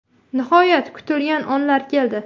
Nihoyat kutilgan onlar keldi.